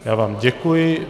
Já vám děkuji.